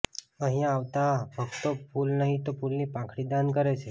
અહિયાં આવતા ભક્તો ફૂલ નહિ તો ફૂલની પાંખડી દાન કરે છે